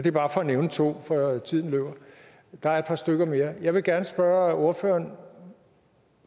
er bare for at nævne to for tiden løber og der er et par stykker mere jeg vil gerne spørge ordføreren